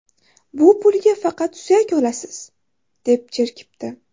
Bu pulga faqat suyak olasiz”, deb jerkibdi.